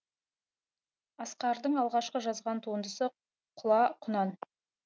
асқардың алғашқы жазған туындысы құла құнан